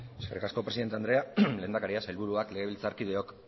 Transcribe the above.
eskerrik asko presidente andrea lehendakaria sailburuak legebiltzarkideok